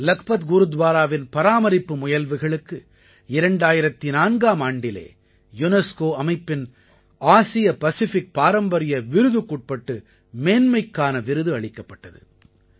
லக்பத் குருத்வாராவின் பராமரிப்பு முயல்வுகளுக்கு 2004ஆம் ஆண்டிலே யுனெஸ்கோ அமைப்பின் ஆசிய பசிஃபிக் பாரம்பரிய விருதுக்குட்பட்டு மேன்மைக்கான விருது அளிக்கப்பட்டது